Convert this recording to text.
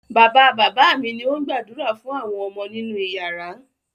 Bàbá-bàbá mi ni ó ń gbàdúrà fún àwọn ọmọ nínú ìyàrá.